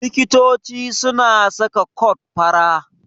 Likito suna saka kot fara.